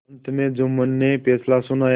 अंत में जुम्मन ने फैसला सुनाया